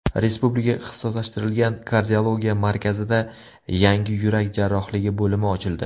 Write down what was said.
Respublika ixtisoslashtirilgan kardiologiya markazida yangi yurak jarrohligi bo‘limi ochildi.